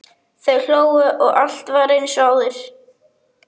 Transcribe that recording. Þau hlógu og allt var eins og áður.